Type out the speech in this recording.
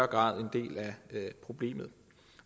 grad en del af problemet